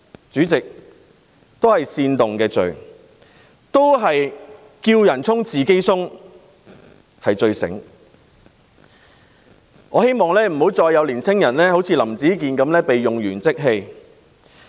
主席，這是煽動罪，"叫人衝，自己鬆"是最聰明的做法，但我希望不再有青年人好像林子健一樣被用完即棄。